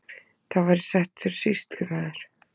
Þá var ég settur sýslumaður.